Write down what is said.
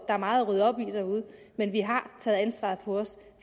er meget at rydde op i derude men vi har taget ansvaret på os